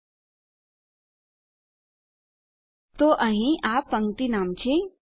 તો જેમ કે આપણે જોઈ શકીએ છીએ કે અહીં આ પંક્તિ નામ છે